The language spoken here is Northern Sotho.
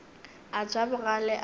a ja bogale a be